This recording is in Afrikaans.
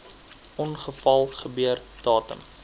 ongeval gebeur datum